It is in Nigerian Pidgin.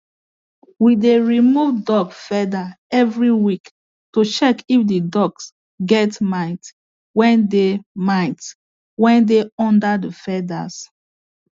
we dey remove ducks feather every week to check if the ducks get mites wey dey mites wey dey under the feathers